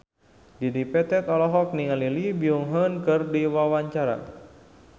Dedi Petet olohok ningali Lee Byung Hun keur diwawancara